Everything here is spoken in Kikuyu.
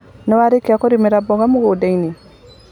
Nĩwarĩkia kũrĩmira mboga mugundainĩ?